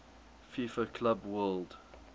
fifa club world